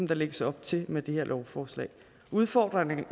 der lægges op til med det her lovforslag udfordringerne